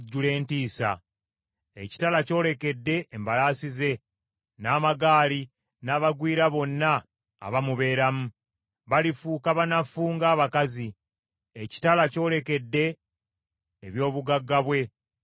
Ekitala kyolekedde embalaasi ze n’amagaali n’abagwira bonna abamubeeramu! Balifuuka banafu ng’abakazi. Ekitala kyolekedde eby’obugagga bwe! Birinyagibwa!